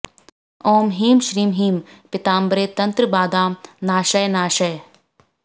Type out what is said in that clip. ॐ ह्लीं श्रीं ह्लीं पीताम्बरे तंत्र बाधाम नाशय नाशय